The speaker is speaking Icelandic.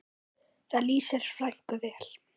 Það lýsir frænku vel.